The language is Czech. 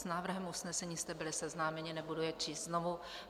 S návrhem usnesení jste byli seznámeni, nebudu je číst znovu.